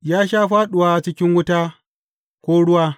Ya sha fāɗuwa cikin wuta ko ruwa.